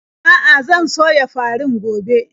A'a, zan soya farin gobe.